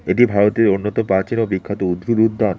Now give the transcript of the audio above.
এটি ভারতের অন্যত প্রাচীন ও বিখ্যাত উদ্ভিদ উদ্যান।